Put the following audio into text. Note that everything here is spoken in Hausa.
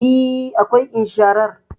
E, akwai insharar